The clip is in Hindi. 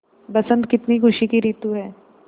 बसंत कितनी खुशी की रितु है